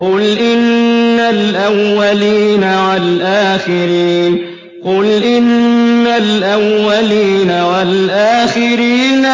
قُلْ إِنَّ الْأَوَّلِينَ وَالْآخِرِينَ